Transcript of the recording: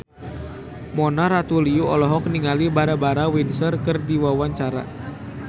Mona Ratuliu olohok ningali Barbara Windsor keur diwawancara